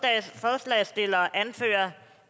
forslagsstillerne anfører